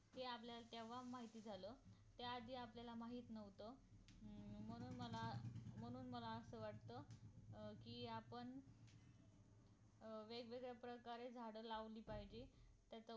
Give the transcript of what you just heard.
कि आपल्याला तेव्हा माहित झालं त्याआधी माहित नव्हतं अं मग मला मग मला असं वाटत अं कि आपण अं वेगवेगळ्या प्रकारे झाड लावली पाहिजे त्याचा